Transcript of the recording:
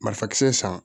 Marifisan san